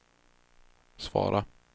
svara